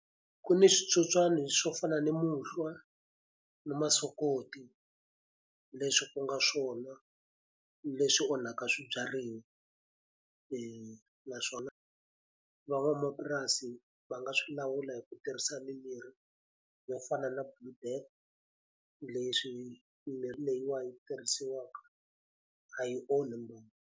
Ku ni switsotswana swo fana ni muhlwa, ni masokoti, leswi ku nga swona leswi onhaka swibyariwa. Naswona van'wamapurasi va nga swi lawula hi ku tirhisa mimirhi yo fana na Blue Death, leswi mimirhi leyiwani yi tirhisiwaka a yi onhi mbangu.